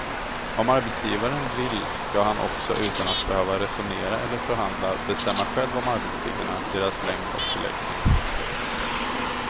Om arbetsgivaren vill ska han också utan att behöva resonera eller förhandla bestämma själv om arbetstiderna, deras längd och förläggning.